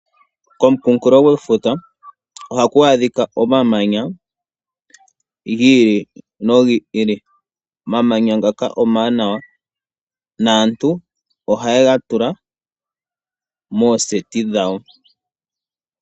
Komukunkulo gwefuta ohaku adhika omamanya gi ili nogi ili. Omamanya ngaka omawanawa naantu ohaye ga tula mookombitha dhawo.